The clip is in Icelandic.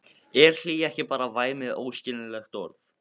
Er hlýja ekki bara væmið og óskiljanlegt orð?